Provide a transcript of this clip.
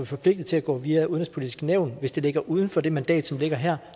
forpligtet til at gå via det udenrigspolitiske nævn hvis det ligger uden for det mandat som ligger her